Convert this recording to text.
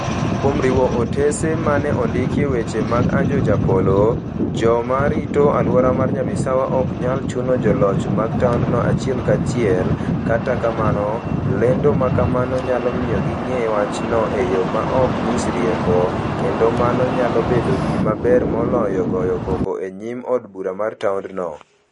Kuom riwo otese ma ne ondikie weche mag Ajoh Japolo, joma rito alwora mar Nyabisawa ok nyal chuno joloch mag taondno achiel kachiel, kata kamano, lendo ma kamano nyalo miyo ging'e wachno e yo ma ok nyis rieko, kendo mano nyalo bedo gima ber moloyo goyo koko e nyim od bura mar taondno.